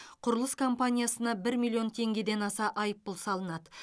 құрылыс компаниясына бір миллион теңгеден аса айыппұл салынады